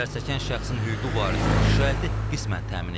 Zərərçəkmiş şəxsin hüquqi varisinin şikayəti qismən təmin edilib.